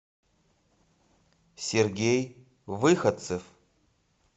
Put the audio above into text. сергей выходцев